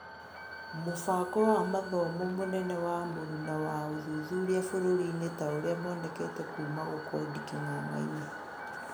Mũbango wa mathomo mũnene wa mũruna wa ũthuthuria bũrũri-inĩ taũrĩa monekete kuuma gũkondi king'ang'ainĩ